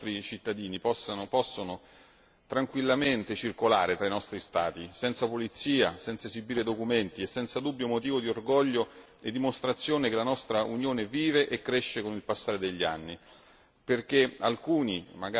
Ma vedere oggi che tutti i nostri cittadini possono tranquillamente circolare tra i nostri Stati, senza polizia, senza esibire documenti, è senza dubbio motivo di orgoglio e dimostrazione che la nostra Unione vive e cresce con il passare degli anni.